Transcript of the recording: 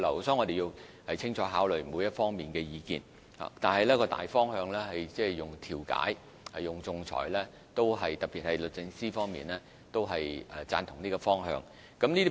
所以，我們必須清楚考慮各方意見，但大方向是運用調解和仲裁，而這個方向也獲得律政司贊同。